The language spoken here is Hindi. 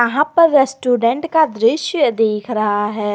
यहां पर रेस्टोरेंट का दृश्य दिख रहा है।